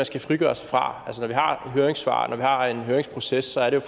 skal frigøre sig fra altså når vi har høringssvar og når vi har en høringsproces er det